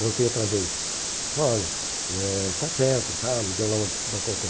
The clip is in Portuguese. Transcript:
Voltei outra vez, disse, olha, eh está certo tal, me deu lá uma desculpa qualquer.